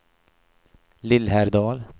Lillhärdal